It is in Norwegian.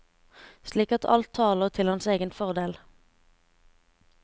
Slik at alt taler til hans egen fordel.